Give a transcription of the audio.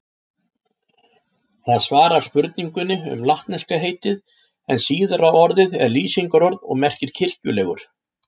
Það svarar spurningunni um latneska heitið en síðara orðið er lýsingarorð og merkir kirkjulegur.